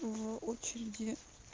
в очереди